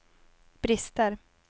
brister